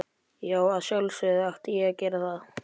Já, að sjálfsögðu átti ég að gera það.